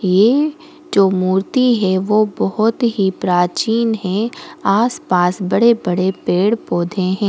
ये जो मूर्ति है वो बहुत ही प्राचीन है आस पास बड़े बड़े पेड़ पौधे है।